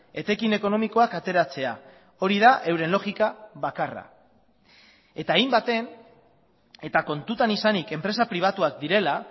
etekin ekonomikoak ateratzea hori da euren logika bakarra eta hainbaten eta kontutan izanik enpresa pribatuak direla